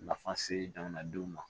Nafa se jamanadenw ma